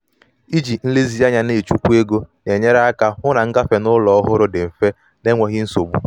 iji nlezianya na-echukwa ego na-enyere aka hụ na ngafe n'ụlọ ñ ọhụrụ dị mfe na mfe na enweghị nsogbu.